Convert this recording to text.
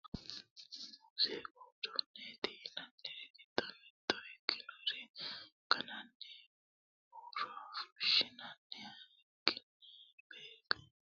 muziiqu uduunneeti yinanniri giddo mitto ikkinori gannanni huuro fushshinanniha ikkinoha begenaho yinanniri duuchuri noota hattono gitaare nootanna baxeemmo yitanno borro no